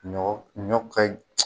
Ɲɔ ɲɔ ka